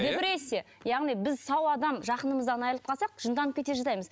депрессия яғни біз сау адам жақынымыздан айрылып қалсақ жынданып кете жаздаймыз